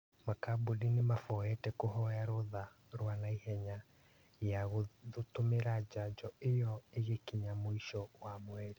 Makambuni nĩmabangĩte kũhoya rũtha rwa naihenya ya gũtũmĩra njanjo ĩyo ĩgĩkinya mũico wa mweri